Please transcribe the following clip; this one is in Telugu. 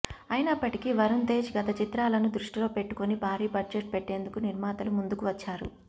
అయినప్పటికీ వరుణ్ తేజ్ గత చిత్రాలను దృష్టిలో పెట్టుకొని భారీ బడ్జెట్ పెట్టేందుకు నిర్మాతలు ముందుకు వచ్చారు